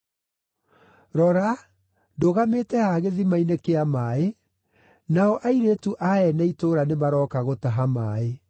Rora, ndũgamĩte haha gĩthima-inĩ kĩa maaĩ, nao airĩtu a ene itũũra nĩ maroka gũtaha maaĩ.